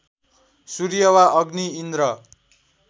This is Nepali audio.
सूर्य वा अग्नि इन्द्र